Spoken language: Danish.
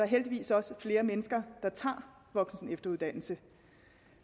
heldigvis også flere mennesker der tager voksen og efteruddannelse